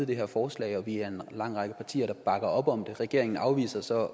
det her forslag og vi er en lang række partier der bakker op om det regeringen afviser så